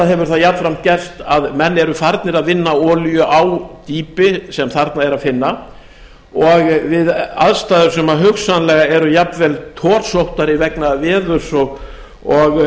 hefur það jafnframt gerst að menn eru farnir að vinna olíu á dýpi sem þarna er að finna og við aðstæður sem hugsanlega eru jafnvel torsóttari vegna veður og